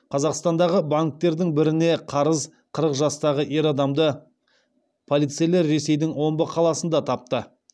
қазақстандағы банктердің біріне қарыз қырық жастағы ер адамды полицейлер ресейдің омбы қаласында тапты